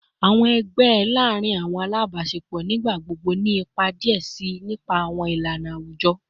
Awọn ẹgbẹ laarin awọn alabaṣepọ nigbagbogbo ni ipa diẹ sii nipasẹ awọn ilana awujọ